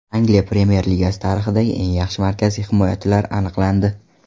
Angliya Premyer Ligasi tarixidagi eng yaxshi markaziy himoyachilar aniqlandi !